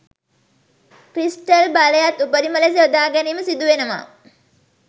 crystal බලයත් උපරිම ලෙස යොදා ගැනීම සිදුවෙනවා